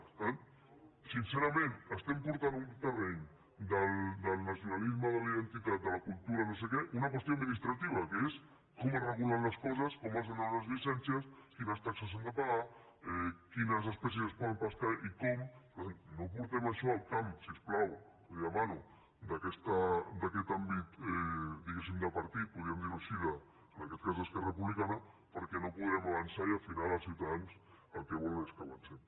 per tant sincerament estem portant a un terreny del nacionalisme de la identitat de la cultura no sé què una qüestió administrativa que és com es regulen les coses com es donen unes llicències quines taxes s’han de pagar quines espècies es poden pescar i com per tant no portem això al camp si us plau li ho demano d’aquest àmbit diguéssim de partit podríem dir ho així en aquest cas d’esquerra republicana perquè no podrem avançar i al final els ciutadans el que volen és que avancem